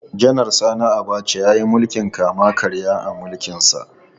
Janar Sani Abacha ya yi mulkin kama-karya a mulkinsa.